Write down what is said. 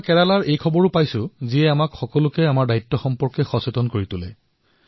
মই কেৰালাৰ আৰু এটা বাতৰি পাইছো যিয়ে আমাৰ সকলোৰে দ্বায়িত্বৰ অনুভৱ কৰাইছে